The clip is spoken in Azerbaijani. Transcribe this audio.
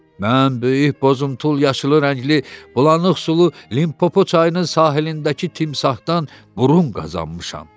Mən böyük boz-imtul yaşılı rəngli bulanıq sulu Limpopo çayının sahilindəki timsahdan burun qazanmışam.